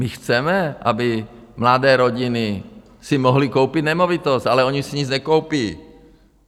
My chceme, aby mladé rodiny si mohly koupit nemovitost, ale ony si nic nekoupí.